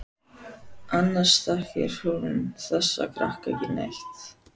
Annars þekkir hún þessa krakka ekki neitt.